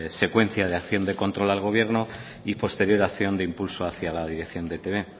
secuencia de acción de control al gobierno y posterior acción de impulso hacia la dirección de e i te be